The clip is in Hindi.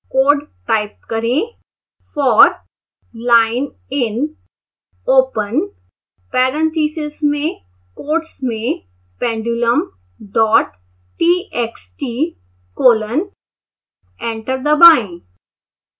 कोड टाइप करें